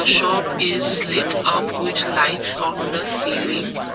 shop is light up with lights on the ceiling.